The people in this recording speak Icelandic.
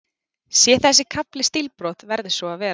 Sé þessi kafli stílbrot, verður svo að vera.